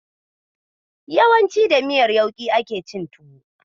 Yawanci da miyar yauƙi ake cin tuwo.